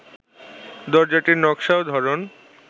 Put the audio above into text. দরজাটির নকশা ও ধরন